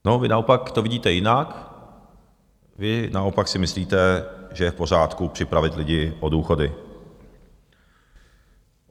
A vy naopak to vidíte jinak, vy naopak si myslíte, že je v pořádku připravit lidi o důchody.